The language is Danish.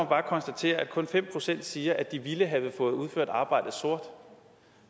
bare konstatere at kun fem procent siger at de ville have fået udført arbejdet sort